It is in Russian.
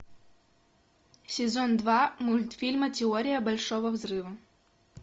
сезон два мультфильма теория большого взрыва